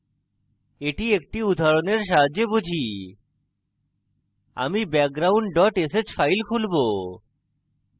এটি একটি উদাহরণের সাহায্যে বুঝি আমি background dot sh file খুলবো